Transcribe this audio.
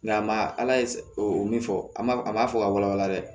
Nka ma ala ye o min fɔ an b'a an b'a fɔ ka walawala dɛ